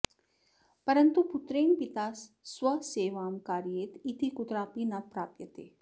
परन्तु पुत्रेण पिता स्वसेवां कारयेत् इति कुत्रापि न प्राप्यते